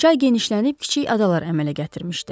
Çay genişlənib kiçik adalar əmələ gətirmişdi.